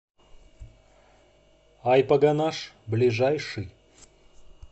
айпогонаж ближайший